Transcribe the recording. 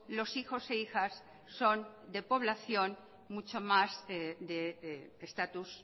los hijos e hijas son de población mucho más de estatus